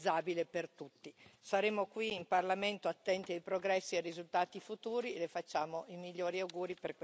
Saremo qui, in Parlamento, attenti ai progressi e ai risultati futuri, e Le facciamo i migliori auguri per questa Sua fine di mandato.